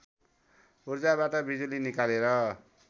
उर्जाबाट बिजुली निकालेर